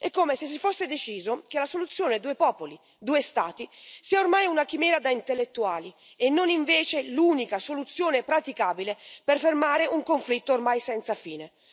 È come se si fosse deciso che la soluzione due popoli, due Stati sia ormai una chimera da intellettuali e non, invece, l'unica soluzione praticabile per fermare un conflitto ormai senza fine.